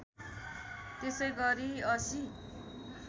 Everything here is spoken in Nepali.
त्यसै गरी ८०